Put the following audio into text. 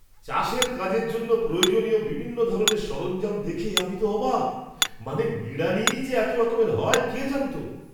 চাষের কাজের জন্য প্রয়োজনীয় বিভিন্ন ধরনের সরঞ্জাম দেখে আমি তো অবাক! মানে, নিড়ানিই যে এত রকমের হয় কে জানতো?